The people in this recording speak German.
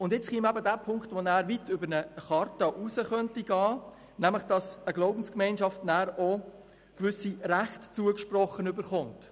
Nun käme eben derjenige Punkt hinzu, der weit über eine Charta hinausgehen könnte, nämlich, dass eine Glaubensgemeinschaft auch gewisse Rechte zugesprochen erhält.